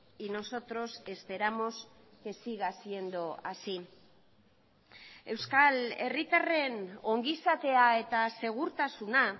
y nosotros esperamos que siga siendo así euskal herritarren ongizatea eta segurtasuna